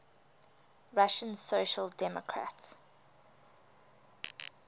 russian social democratic